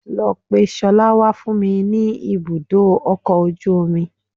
Lọ pe ṣọlá wá fún mi ní ibùdó ọkọ̀ ojú omi